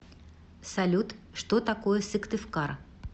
салют что такое сыктывкар